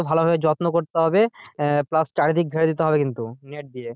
ভালো ভাবে যত্ন করতে হবে আহ plus চারিদিক ঘেরে দিতে হবে net দিয়ে,